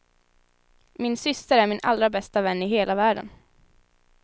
Min syster är min allra bästa vän i hela världen.